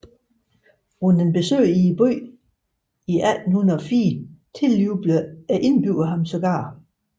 Under et besøg i byen i 1804 tiljublede indbyggerne ham sågar